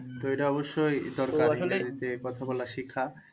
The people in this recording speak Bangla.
তো এইটা অবশ্যই দরকারি যে, কথা বলা শেখা।